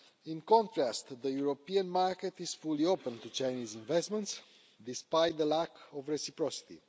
In contrast, the European market is fully open to Chinese investment, despite the lack of reciprocity.